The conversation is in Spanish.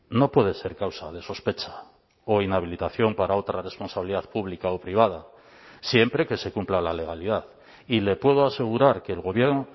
no puede ser causa de sospecha o inhabilitación para otra responsabilidad pública o privada siempre que se cumpla la legalidad y le puedo asegurar que el gobierno